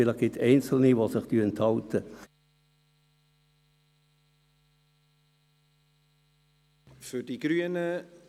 Vielleicht gibt es einzelne, die sich enthalten werden.